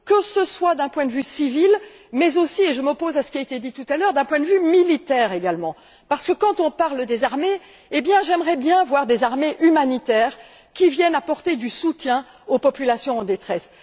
Que ce soit d'un point de vue civil mais aussi et je m'oppose à ce qui a été dit tout à l'heure d'un point de vue militaire également, parce que lorsque nous parlons des armées, j'aimerais bien voir des armées humanitaires qui viennent apporter du soutien aux populations en détresse.